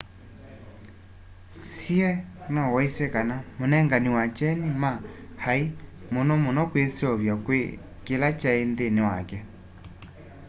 hsieh no waisye kana munengani wa kyeni ma ai muno muno kwiseuvya kwi kila kyai nthini wake